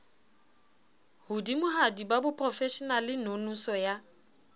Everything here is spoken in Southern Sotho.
hodimohadi ba boprofeshenale nonoso ya